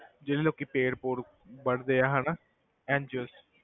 ਜਿਹੜੇ ਲੋਕੀ ਪੇੜ੍ਹ ਪੂੜ੍ਹ ਵੱਡਦੇ ਆ ਹਨਾ NGO s